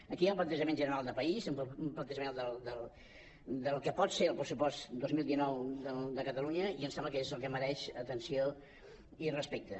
aquí hi ha un plantejament general de país un plantejament del que pot ser el pressupost dos mil dinou de catalunya i em sembla que és el que mereix atenció i respecte